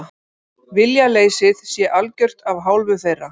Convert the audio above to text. Viljaleysið sé algjört af hálfu þeirra